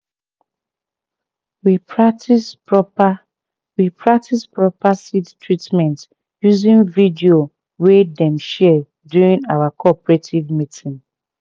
we practise proper we practise proper seed treatment using video wey dem share during our cooperative meeting